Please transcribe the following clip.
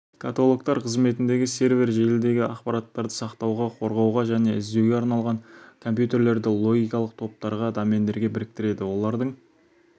каталогтар қызметіндегі сервер желідегі ақпараттарды сақтауға қорғауға және іздеуге арналған компьютерлерді логикалық топтарға домендерге біріктіреді олардың